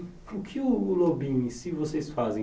E o que o lobinho em si vocês fazem?